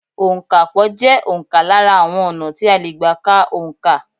Òǹkapò jẹ́ òǹkà lára àwọn ọ̀nà tí a lè gbà ká òǹkà.